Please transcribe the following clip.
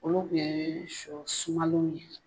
Olu kun ye shɔ sumalenw ye.